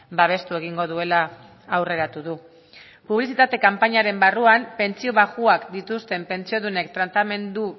babestu egingo duela aurreratu du publizitate kanpainaren barruan pentsio baxuak dituzten pentsiodunen tratamendu